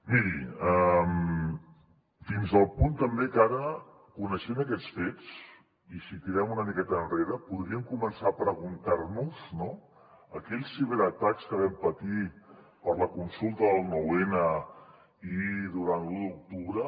miri fins al punt també que ara coneixent aquests fets i si tirem una miqueta enrere podríem començar a preguntar nos no sobre aquells ciberatacs que vam patir per la consulta del nou n i durant l’u d’octubre